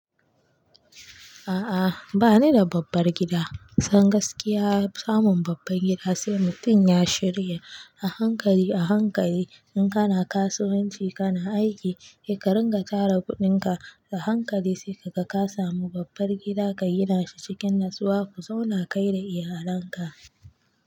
A'a bani da babbar gida. San gaskiya samun babbar gida sai mutum ya shirya a hankali, a hankali. In kana kasuwanci kana aiki, he ka ringa tara kuɗinka a hankali sai ka ka samu babbar gida ka gina shi cikin natsuwa ku zauna kai da iyalanka.